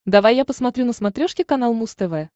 давай я посмотрю на смотрешке канал муз тв